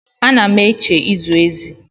Ana m eche ịzụ ezi.